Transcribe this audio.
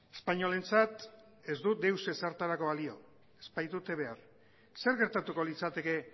espainolentzat ez du deus ezertarako balio ez baitute behar zer gertatuko litzateke